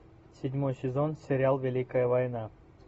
седьмой сезон сериал великая война